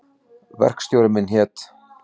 Verkstjóri minn hét